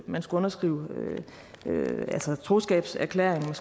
man skulle underskrive troskabserklæringen